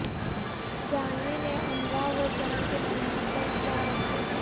جھانوی نے امراو جان کے نغمہ پر کیا رقص